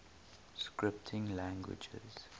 scripting languages